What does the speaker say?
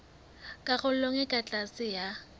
karolong e ka tlase ya